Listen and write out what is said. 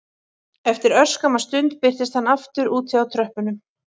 Eftir örskamma stund birtist hann aftur úti á tröppunum